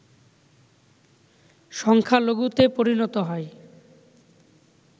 সংখ্যালঘুতে পরিণত হয়